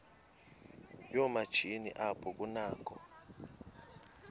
yoomatshini apho kunakho